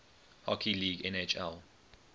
hockey league nhl